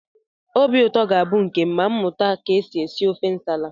Obi ụtọ ga-abụ nke m ma mụta ka e si ete ofe nsala